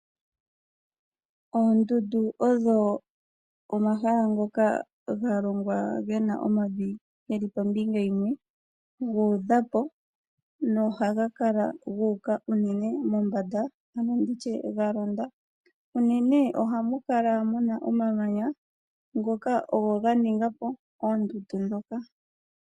Oondundu odho omahala ngoka ga longwa ge na omavi ge li pombinga yimwe, gu udha po na ohaga kala unene gu uka mombanda ano ndi tye ga londa. Unene kudho ohaku kala ku na omamanya, ngoka ge li ogo ga ninga po oondudu ndhoka.